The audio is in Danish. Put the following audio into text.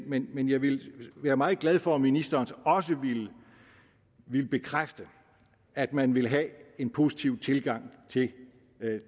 men men jeg vil være meget glad for om ministeren så også ville bekræfte at man vil have en positiv tilgang til